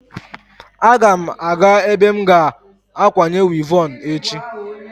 Aga m aga ebe m ga-akwanye wivọn echi.